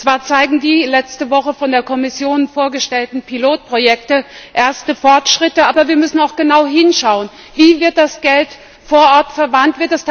Zwar zeigen die letzte Woche von der Kommission vorgestellten Pilotprojekte erste Fortschritte, aber wir müssen auch genau hinschauen Wie wird das Geld vor Ort verwandt?